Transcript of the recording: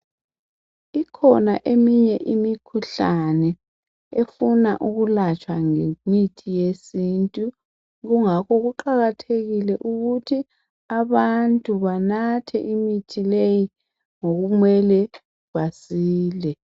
Ikhona eminye imikhuhlane efuna ukulatshwa ngemithi yesintu kungakho kuqakathekile ukuthi abantu banathe imithi leyi ngokumele basile.